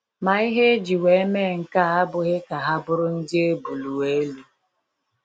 Ma ihe eji wee mee nkea abụghị ka ha bụrụ ndị ebulu elu.